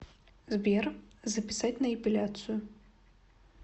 сбер записать на эпиляцию